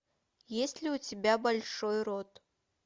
есть ли у тебя большой рот